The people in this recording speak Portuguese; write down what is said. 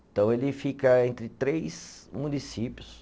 Então, ele fica entre três municípios.